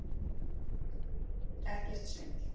Ekkert svindl!